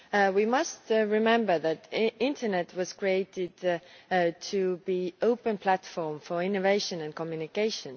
We must remember that the internet was created to be an open platform for innovation and communication.